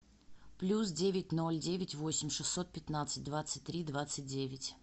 плюс девять ноль девять восемь шестьсот пятнадцать двадцать три двадцать девять